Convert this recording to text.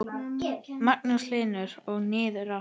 Magnús Hlynur: Og niður aftur?